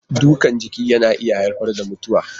Dukan jiki na iya haifar da mutuwa.